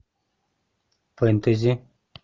фэнтези